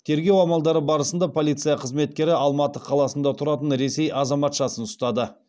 тергеу амалдары барысында полиция қызметкері алматы қаласында тұратын ресей азаматшасын ұстады